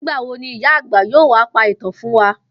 Nígbà wo ni ìyá àgbà yóò wá pa ìtàn fún wa?